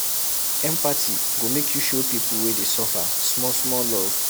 Empathy go make you show pipu wey dey suffer small-small love.